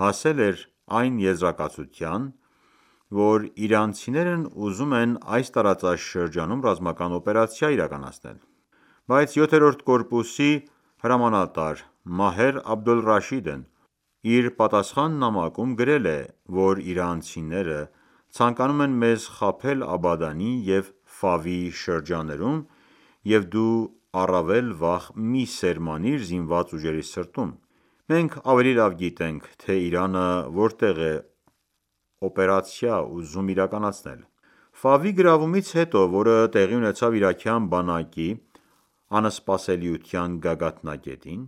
հասել էր այն եզրակացության, որ իրանցիներն ուզում են այս տարածաշրջանում ռազմական օպերացիա իրականացնել: Բայց 7-րդ կորպուսի հրամանատար Մահեր Աբդուլ Ռաշիդն իր պատասխան նամակում գրել է, որ իրանցիները ցանկանում են մեզ խաբել Աբադանի և Ֆավի շրջաններում և դու առավել վախ մի՛ սերմանիր զինված ուժերի սրտում, մենք ավելի լավ գիտենք, թե Իրանը որտեղ է օպերացիա ուզում իրականացնել: Ֆավի գրավումից հետո, որը տեղի ունեցավ իրաքյան բանակի անսպասելիության գագաթնակետին,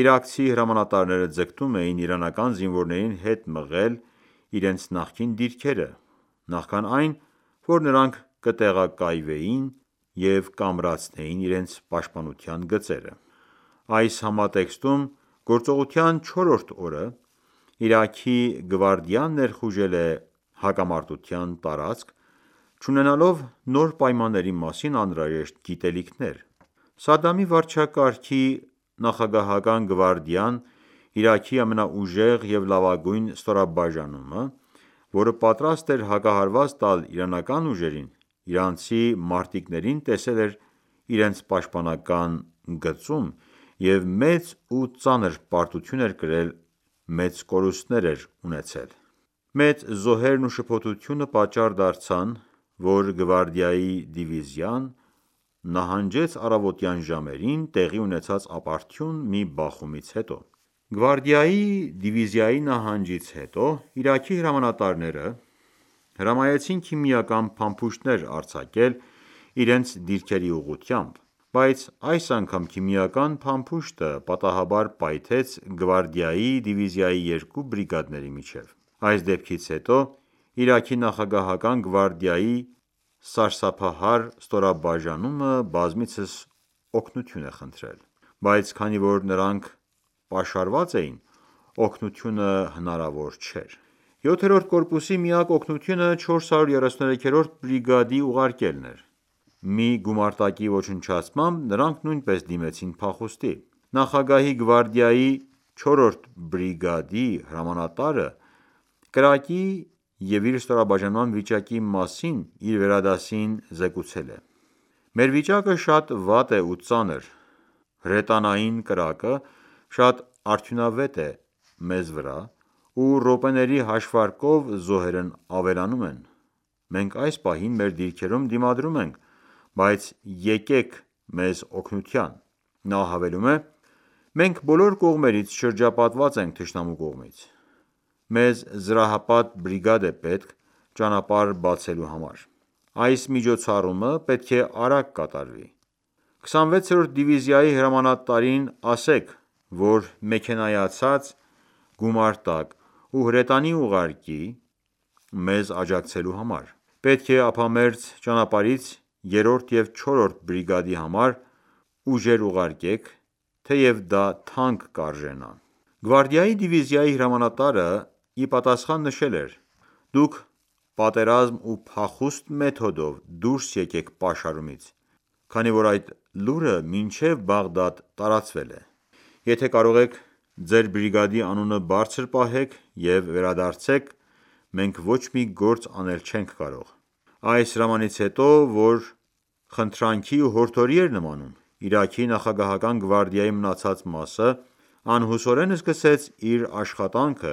իրաքցի հրամանատարները ձգտում էին իրանական զինվորներին հետ մղել իրենց նախկին դիրքերը, նախքան այն, որ նրանք կտեղակայվեին և կամրացնեին իրենց պաշտպանության գծերը: Այս համատեքստում գործողության չորրորդ օրը Իրաքի գվարդիան ներխուժել է հակամարտության տարածք՝ չունենալով նոր պայմանների մասին անհրաժեշտ գիտելիքներ։ Սադամի վարչակարգի նախագահական գվարդիան՝ Իրաքի ամենաուժեղ և լավագույն ստորաբաժանումը, որը պատրաստ էր հակահարված տալ իրանական ուժերին, իրանցի մարտիկներին տեսել էր իրենց պաշտպանական գծում և մեծ ու ծանր պարտություն էր կրել մեծ կորուստներ էր ունեցել։ Մեծ զոհերն ու շփոթությունը պատճառ դարձան, որ Գվարդիայի դիվիզիան նահանջեց առավոտյան ժամերին տեղի ունեցած ապարդյուն մի բախումից հետո: Գվարդիայի դիվիզիայի նահանջից հետո Իրաքի հրամանատարները հրամայեցին քիմիական փամփուշտներ արձակել իրենց դիրքերի ուղղությամբ, բայց այս անգամ քիմիական փամփուշտը պատահաբար պայթեց գվարդիայի դիվիզիայի երկու բրիգադների միջև: Այս դեպքից հետո Իրաքի նախագահական գվարդիայի սարսափահար ստորաբաժանումը բազմիցս օգնություն է խնդրել։ Բայց քանի որ նրանք պաշարված էին, օգնությունը հնարավոր չէր։ 7-րդ կորպուսի միակ օգնությունը 433-րդ բրիգադն ուղարկելն էր: Մի գումարտակի ոչնչացմամբ նրանք նույնպես դիմեցին փախուստի: Նախագահի գվարդիայի 4-րդ բրիգադի հրամանատարը կրակի և իր ստորաբաժանման վիճակի մասին իր վերադասին զեկուցել է.«Մեր վիճակը շատ վատ է ու ծանր, հրետանային կրակը շատ արդյունավետ է մեզ վրա ու րոպեների հաշվարկով զոհերն ավելանում են, մենք այս պահին մեր դիրքերում դիմադրում ենք, բայց եկեք մեզ օգնության»։ Նա հավելում է.«Մենք բոլոր կողմերից շրջապատված ենք թշնամու կողմից։ Մեզ զրահապատ բրիգադ է պետք՝ ճանապարհ բացելու համար։ Այս միջոցառումը պետք է արագ կատարվի: 26-րդ դիվիզիայի հրամանատարին ասեք, որ մեքենայացված գումարտակ ու հրետանի ուղարկի մեզ աջակցելու համար։ Պետք է ափամերձ ճանապարհից 3-րդ և 4-րդ բրիգադի համար ուժեր ուղարկեք, թեև դա թանկ կարժենա»։ Գվարդիայի դիվիզիայի հրամանատարը իպատասխան նշել էր.«Դուք պատերազմ ու փախուստ մեթոդով դուրս եկեք պաշարումից, քանի որ այդ լուրը մինչև Բաղդադ տարածվել է: Եթե կարող եք ձեր բրիգադի անունը բարձր պահեք և վերադարձեք մենք ոչ մի գործ անել չենք կարող»: Այս հրամանից հետո, որ խնդրանքի ու հորդորի էր նմանում Իրաքի նախագահական գվարդիայի մնացած մասը անհուսորեն սկսեց իր աշխատանքը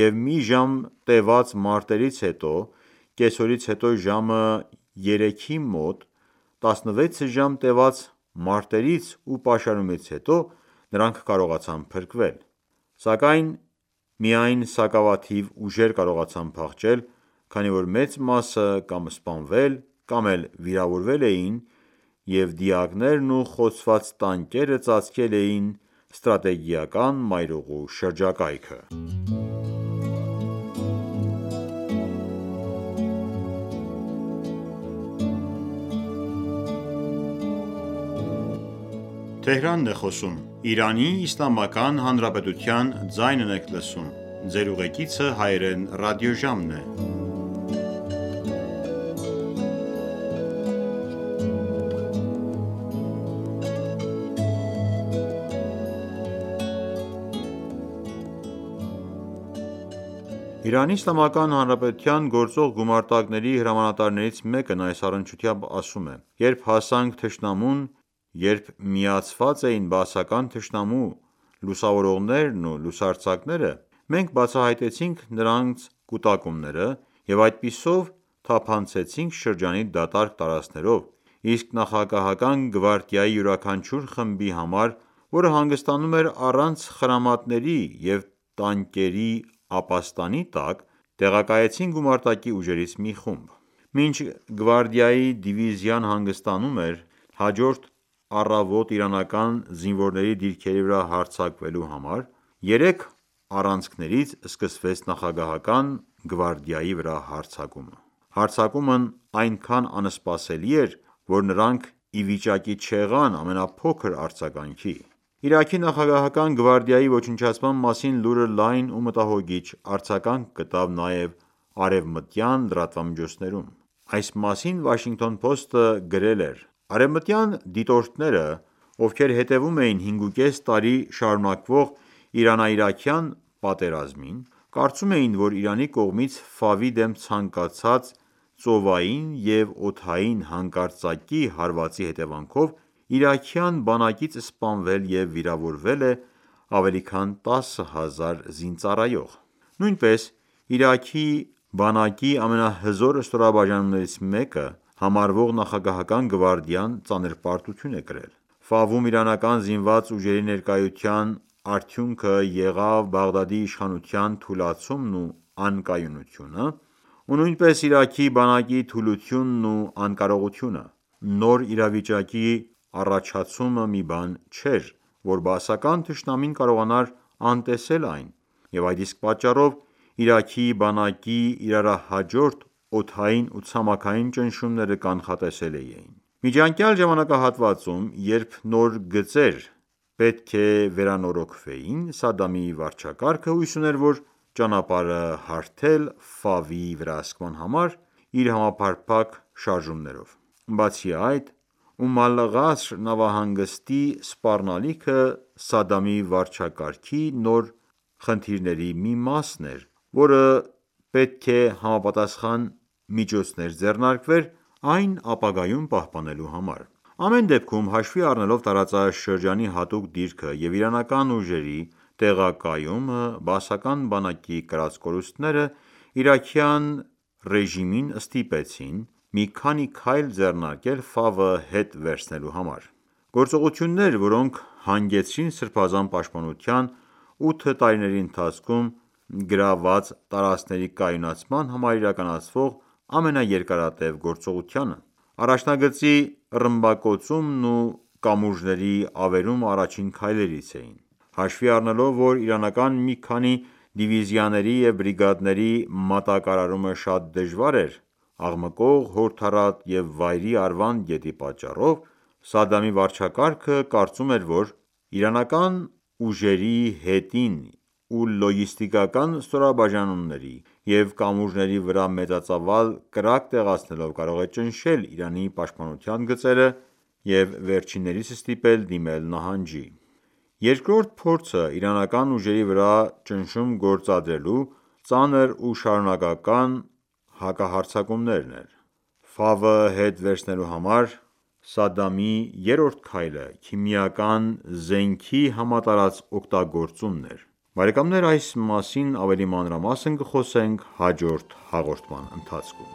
և մի ժամ տևած մարտերից հետո կեսօրից հետո ժամը 3-ի մոտ, 16 ժամ տևած մարտերից ու պաշարումից հետո նրանք կարողացան փրկվել: Սակայն միայն սակավաթիվ ուժեր կարողացան փախչել, քանի որ մեծ մասը կամ սպանվել կամ էլ վիրավորվել էին և դիակներն ու խոցված տանկերը ծածկել էին ստրատեգիական մայրուղու շրջակայքը: ԻԻՀ-ի գործող գումարտակների հրամանատարներից մեկն այս առնչությամբ ասում է.«Երբ հասանք թշնամուն, երբ միացված էին բաասական թշնամու լուսավորողներն ու լուսարձակները, մենք բացահայտեցինք նրանց կուտակումները և այդպիսով թափանցեցինք շրջանի դատարկ տարածքներով, իսկ նախագահական գվարդիայի յուրաքանչյուր խմբի համար, որը հանգստանում էր առանց խրամատների և տանկերի ապաստանի տակ տեղակայեցին գումարտակի ուժերից մի խումբ»: Մինչ Գվարդիայի դիվիզիան հանգստանում էր՝ հաջորդ առավոտ իրանական զինվորների դիրքերի վրա հարձակկվելու համար, երեք առանցքներից սկսվեց նախագահական գվարդիայի վրա հարձակումը։ Հարձակումն այնքան անսպասելի էր, որ նրանք իվիճակի չեղան ամենափոքր արձագանքի։ Իրաքի նախագահական գվարդիայի ոչնչացման մասին լուրը լայն ու մտահոգիիչ արձաքանք գտավ նաև արևմտյան լրատվամիջոցներում»: Այս մասին Washington Post-ը գրել էր.«Արևմտյան դիտորդները, ովքեր հետևում էին հինգուկես տարի շարունակվող Իրանա-իրաքյան պատերազմին, կարծում էին, որ Իրանի կողմից Ֆավի դեմ ցամաքային, ծովային և օդային հանկարծակի հարվածի հետևանքով իրաքյան բանակից սպանվել և վիրավորել է ավելի քան 10,000 զինծառայող: Նույնպես Իրաքի բանակի ամենահզոր ստորաբաժանումներից մեկը համարվող նախագահական գվարդիան ծանր պարտություն է կրել»: Ֆավում իրանական զինված ուժերի ներկայության արդյունքը եղավ Բաղդադի իշխանության թուլացումն ու անկայունությունը ու նույնպես Իրաքի բանակի թուլությունն ու անկարողությունը: Նոր իրավիճակի առաջացում մի բան չէր, որ բաասական թշնամին կարողանար անտեսել այն և այդ իսկ պատճառով Իրաքի բանակի իրարահաջորդ օդային ու ցամաքային ճնշումները կանխատեսելի էին: Միջանկյալ ժամանակահատվածում, երբ նոր գծեր պետք է վերանորոգվեին Սադամի վարչակարգը հույս ուներ ճանապարհ հարթել Ֆավի վերահսկման համար՝ իր համապարփակ շարժումներով: Բացի այդ, Ում Ալ-Ղասր նավահանգստի սպառնալիքը Սադամի վարչակարգի նոր խնդիրների մի մասն էր, որը պետք է համապատասխան միջոցներ ձեռնարկվեր այն ապագայում պահպանելու համար։ Ամեն դեպքում, հաշվի առնելով տարածաշրջանի հատուկ դիրքը և իրանական ուժերի տեղակայումն բաասական բանակի կրած կորուստները, իրաքյան ռեժիմին, ստիպեցին մի քանի քայլ ձեռնարկել Ֆավը հետ վերցելու համար: Գործողություններ, որոնք հանգեցրին Սրբազան պաշտպանության ութ տարիների ընթացքում գրաված տարածքների կայունացման համար իրականացվող ամենաերկարարտև գործողությանը: Առաջնագծի ռմբակոծումն ու կամուրջների ավերումը առաջին քայլերից էին։ Հաշվի առնելով, որ իրանական մի քանի դիվիզիաների և բրիգադների մատակարարումը շատ դժվար էր աղմկող, հորդառատ և վայրի Արվանդ գետի պատճառով, Սադամի վարչակարգը կարծում էր, որ Իրանական ուժերի հետին ու լոգիստիկանա ստորաբաժանումների և կամուրջների վրա մեծածավալ կրակ տեղացնելով կարող է ճնշել Իրանի պաշտպանական գծերը և վերջիններիս ստիպել դիմել նահանջի: Երկրորդ փորձը իրանական ուժերի վրա ճնշում գործադրելու ծանր ու շարունակական հակահարձակումն էր։ Ֆավը հետ վերցնելու համար Սադամի երրորդ քայլը քիմիական զենքի համատարած օգտագործումն էր, այս մասին ավելի մանրամասն կխոսենք հաջորդ հաղորդման ընթացքում։